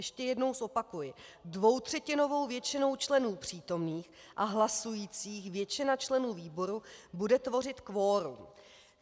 Ještě jednou zopakuji: dvoutřetinovou většinou členů přítomných a hlasujících, většina členů výboru bude tvořit kvorum.